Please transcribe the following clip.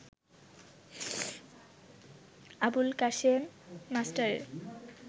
আবুল কাশেম মাস্টারের